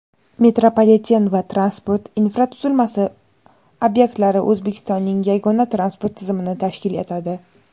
metropoliten va transport infratuzilmasi ob’ektlari O‘zbekistonning yagona transport tizimini tashkil etadi.